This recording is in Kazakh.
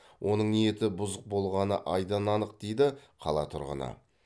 оның ниеті бұзық болғаны айдан анық дейді қала тұрғыны